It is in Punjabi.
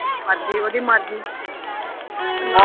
ਮਰਜੀ ਉਹ ਦੀ ਮਰਜੀ ਚਲੋ